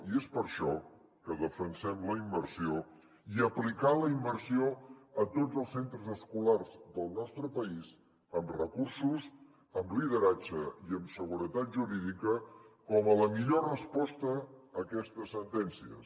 i és per això que defensem la immersió i aplicar la immersió a tots els centres escolars del nostre país amb recursos amb lideratge i amb seguretat jurídica com la millor resposta a aquestes sentències